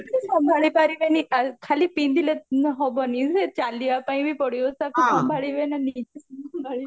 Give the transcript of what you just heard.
ସମ୍ଭାଳି ପରିବେନି ଖାଲି ପିନ୍ଧିଲେ ହବନି ଯେ ଚାଲିବ ପାଇଁ ବି ପଡିବ ତାକୁ ସମ୍ଭାଳିବେ ନା